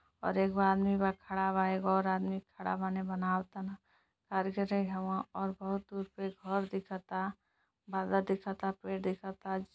और एगो आदमी बा खड़ा बा। एगो और आदमी खड़ा बाने बनाव तन। और बहुत दूर पे घर दिखता। दिखता पे दिखता।